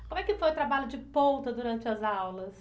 Como é que foi o trabalho de ponta durante as aulas?